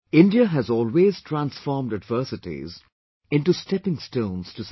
India has always transformed adversities into stepping stones to success